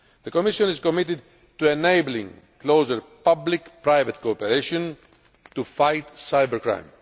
The Commission is committed to enabling closer public private cooperation in fighting cybercrime.